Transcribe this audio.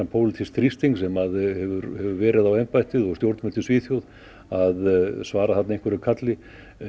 pólitísks þrýstings sem hefur verið á embættið og stjórnvöld í Svíþjóð að svara þarna einhverju kalli